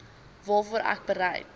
waarvoor ek bereid